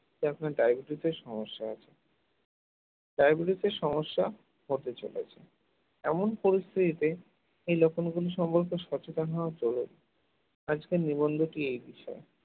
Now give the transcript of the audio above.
যা আপনার diabetes র সমস্যা আছে diabetes এর সমস্যা হতে চলেছে, এমন পরিস্থিতিতে এই লক্ষণ গুলি সম্পর্কের সচেতন হওয়া প্রয়োজন আজকের নিবন্ধকি এ বিষয়ে